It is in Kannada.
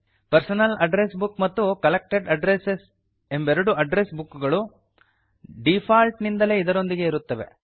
ಪರ್ಸನಲ್ ಅಡ್ರೆಸ್ ಬುಕ್ ಮತ್ತು ಕಲೆಕ್ಟೆಡ್ ಅಡ್ರೆಸ್ ಎಂಬೆರಡು ಅಡ್ಡ್ರೆಸ್ ಬುಕ್ ಗಳು ಡೀಫಾಲ್ಟ್ ನಿಂದಲೇ ಇದರೊಂದಿಗೆ ಇರುತ್ತವೆ